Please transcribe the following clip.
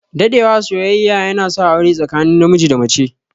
Daɗewa a soyyayya yana sa aure tsakanin namiji da mace.